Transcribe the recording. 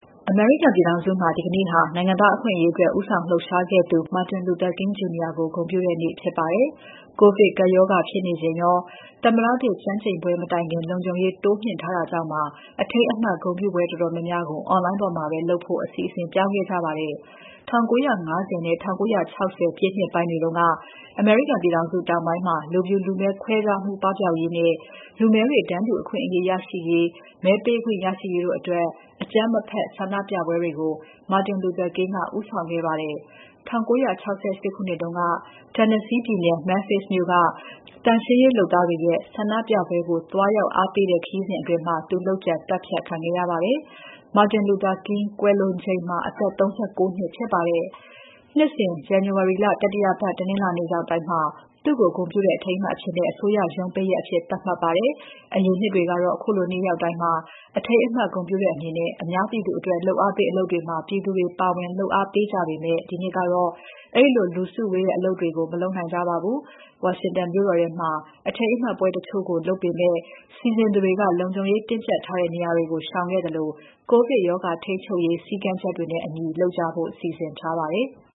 အမေရိကန်ပြည်ထောင်စုမှာ ဒီနေ့ဟာ နိုင်ငံသားအခွင့်အရေးအတွက် ဦးဆောင်လှုပ်ရှားခဲ့သူ Martin Luther King Jr. ကို ဂုဏ်ပြုတဲ့နေ့ဖြစ်ပါတယ်။ ကိုဗစ်ကပ်ရောဂါဖြစ်နေချိန်ရော သမ္မတသစ်ကျမ်းကျိန်ပွဲ မတိုင်ခင် လုံခြုံရေးတိုးမြှင့်ထားတာကြောင့်ပါ အထိမ်းအမှတ် ဂုဏ်ပြုပွဲတော်တော်များများကို Online ပေါ်မှာပဲ လုပ်ဖို့ အစီအစဉ်ပြောင်းခဲ့ကြရပါတယ်။ ၁၉၅၀ နဲ့ ၁၉၆၀ ပြည့်နှစ်ပိုင်းတွေတုန်းက အမေရိကန်ပြည်ထောင်စု တောင်ပိုင်းမှာ လူဖြူ လူမည်းခွဲခြားမှု ပပျောက်ရေးနဲ့ လူမည်းတွေ တန်းတူအခွင့်အရေးရရှိရေး၊ မဲပေးခွင့်ရရှိရေးတို့အတွက် အကြမ်းမဖက် ဆန္ဒပြပွဲတွေကို Martin Luther King က ဦးဆောင်စီစဉ်ခဲ့ပါတယ်။ ၁၉၆၈ ခုနှစ်က Tennessee ပြည်နယ် Memphis မြို့က သန့်ရှင်းရေးလုပ်သားတွေရဲ့ ဆန္ဒပြပွဲကို သွားရောက်အားပေးတဲ့ ခရီးစဉ်အတွင်း သူ လုပ်ကြံသတ်ဖြတ်ခံခဲ့ရပါတယ်။ Martin Luther King ကွယ်လွန်ချိန်မှာ အသက် ၃၉ နှစ်ဖြစ်ပါတယ်။ နှစ်စဉ် ဇန်နဝါရီလ တတိယပတ် တနင်္လာနေ့ရောက်တိုင်း သူ့ကို ဂုဏ်ပြုတဲ့ အထိမ်းအမှတ်အဖြစ် အစိုးရရုံးပိတ်ရက်သတ်မှတ်ထားပါတယ်။ အရင်နှစ်တွေကတော့ ခုလိုနေ့ရောက်တိုင်း အထိမ်းအမှတ်ဂုဏ်ပြုတဲ့အနေနဲ့ အများပြည်သူအတွက် လုပ်အားပေးအလုပ်တွေမှာ ပြည်သူတွေ ပါဝင်လုပ်အားပေးကြပေမဲ့ ဒီနှစ်ကတော့ အဲဒီလို လူစုဝေးတဲ့ အလုပ်တွေကို မလုပ်နိုင်ကြပါဘူး။ ဝါရှင်တန်မြို့တော်ထဲမှာ အထိမ်းအမှတ်ပွဲတချို့ကို လုပ်ပေမဲ့ စီစဉ်သူတွေက လုံခြုံရေးတင်းကြပ်ထားတဲ့ နေရာတွေကို ရှောင်ခဲ့သလို ကိုဗစ်ကပ်ရောဂါ ထိန်းချုပ်ရေး စည်းကမ်းချက်တွေနဲ့အညီ လုပ်ကြဖို့ စီစဉ်ထားကြပါတယ်။